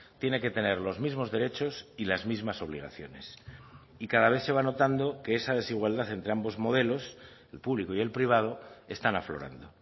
tiene que tener los mismos derechos y las mismas obligaciones y cada vez se va notando que esa desigualdad entre ambos modelos el público y el privado están aflorando